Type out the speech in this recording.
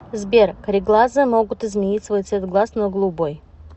сбер кареглазые могут изменить свой цвет глаз на голубой